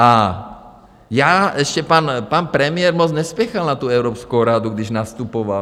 A já ještě - pan premiér moc nespěchal na tu Evropskou radu, když nastupoval.